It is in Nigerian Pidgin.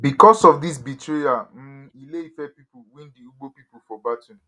becos of dis betrayal um ile ife pipo win di ugbo pipo for battle